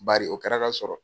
Bari o kɛra ka sɔrɔ.